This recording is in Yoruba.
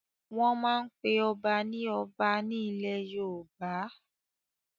Wọ́n máa n pe ọba ní Ọba ní ilẹ̀ yoòbá